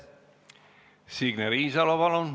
Signe Riisalo, palun!